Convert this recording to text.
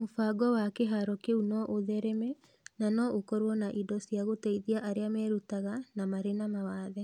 Mũbango wa kĩhaaro kĩu no ũthereme na no ũkorũo na indo cia gũteithia arĩa merutaga na marĩ na mawathe